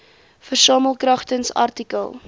versamel kragtens artikel